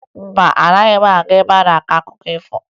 Mba, agaghị m aga ebe a na-akọ akụkọ ifo